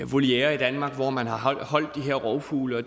volierer i danmark hvor man har de her rovfugle og